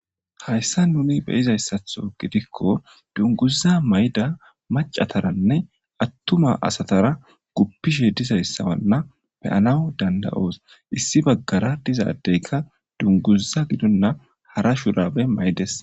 hayssa nuni beyizayssatho gidikko dunguza mayda macataranne attuma asatara guppishe dizayssawanna beyanawu danda7oos issi baggara dizaddeyka dunguza gidonna hara shurabe maydes.